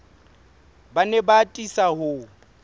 ba ne ba atisa ho